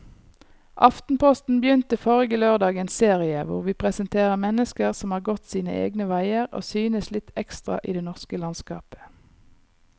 Aftenposten begynte forrige lørdag en serie hvor vi presenterer mennesker som har gått sine egne veier og synes litt ekstra i det norske landskapet.